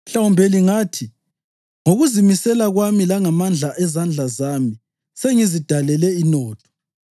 Mhlawumbe lingathi, ‘Ngokuzimisela kwami langamandla ezandla zami sengizidalele inotho.’